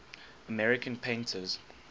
american painters